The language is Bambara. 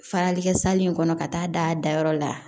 Faralikɛ salen in kɔnɔ ka taa dayɔrɔ la